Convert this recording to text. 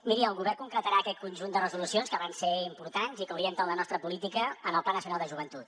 miri el govern concretarà aquest conjunt de resolucions que van ser importants i que orienten la nostra política en el pla nacional de joventut